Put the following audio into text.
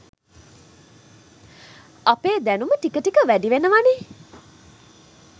අපේ දැනුම ටික ටික වැඩිවෙනවනේ.